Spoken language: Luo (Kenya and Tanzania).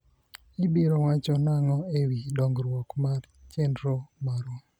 ibiro wacho nang'o e wi dongruok mar chenro marwa